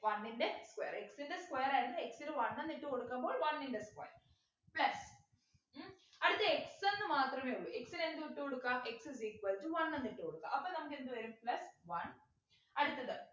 one ൻ്റെ square x ൻ്റെ square ആയിരുന്നു x നു one എന്നിട്ടു കൊടുക്കുമ്പോൾ one ൻ്റെ square ല്ലേ ഉം അടുത്ത x എന്നുമാത്രമേ ഉള്ളു x നു എന്ത് ഇട്ടു കൊടുക്കാ x is equal to one എന്ന് ഇട്ടു കൊടുക്കാ അപ്പം നമക്കെന്ത് വരും plus one അടുത്തത്